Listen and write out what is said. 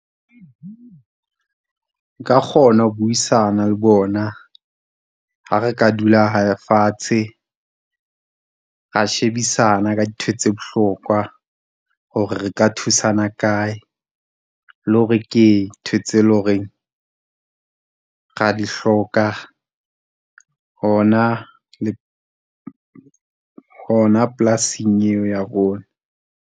Nka nka kgona ho buisana le bona. Ha re ka dula fatshe, ra shebisana ka dintho tse bohlokwa hore re ka thusana kae, le hore ke eng ntho tse e leng hore ra di hloka. Hona , hona polasing eo ya rona.